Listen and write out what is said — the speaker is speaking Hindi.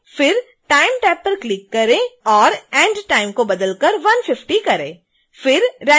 फिर time टैब पर क्लिक करें और end time को बदलकर 150 करें